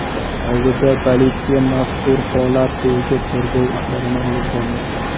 Hozirda politsiya mazkur holat bo‘yicha tergov ishlarini olib bormoqda.